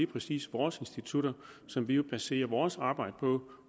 præcis vores institutter som vi baserer vores arbejde på